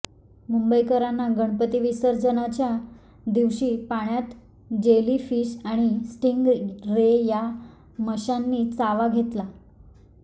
मुंबईकरांना गणपती विसर्जनाच्या दिवशी पाण्यात जेली फिश आणि स्टींग रे या माशांनी चावा घेतला